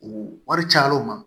U wari cayaliw ma